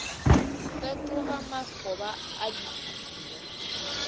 fetoga makgoba a dipuku mo